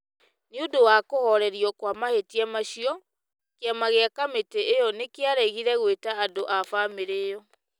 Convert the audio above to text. Nĩ ũndũ wa kũhoorerio kwa mahĩtia macio, kĩama kĩa kamĩtĩ ĩyo nĩ kĩaregire gwĩta andũ a bamĩrĩ ĩyo,